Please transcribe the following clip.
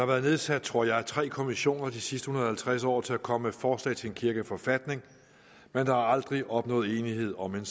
været nedsat tror jeg tre kommissioner de sidste en hundrede og halvtreds år til at komme med forslag til en kirkeforfatning men der er aldrig opnået enighed om en